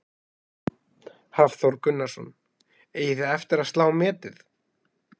Hafþór Gunnarsson: Eigið þið eftir að slá metið?